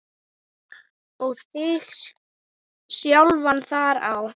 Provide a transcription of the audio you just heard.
og þig sjálfan þar á.